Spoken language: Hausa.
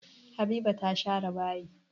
Habiba ta share bayi.